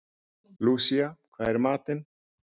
Lúsía, hvað er í matinn?